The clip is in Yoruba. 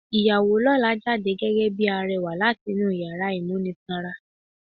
Ìyàwó lọ́la jáde gẹ́gẹ́ bíi arẹwà láti inú yàrá ìmúnisanra.